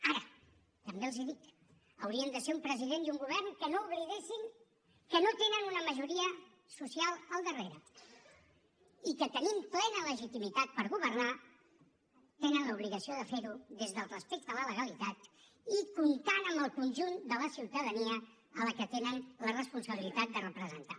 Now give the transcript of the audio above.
ara també els dic haurien de ser un president i un govern que no oblidessin que no tenen una majoria social al darrere i que tenint plena legitimitat per governar tenen l’obligació de fer ho des del respecte a la legalitat i comptant amb el conjunt de la ciutadania a la que tenen la responsabilitat de representar